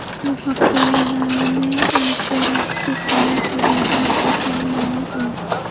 Bu haqda Yagona interaktiv davlat xizmatlari portali ma’lum qildi .